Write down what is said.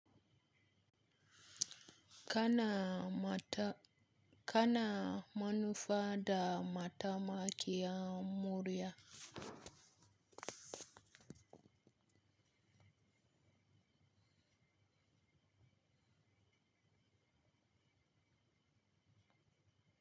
Kana mata-- kana manufa da matamakiya murya?